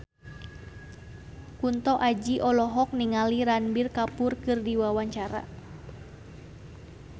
Kunto Aji olohok ningali Ranbir Kapoor keur diwawancara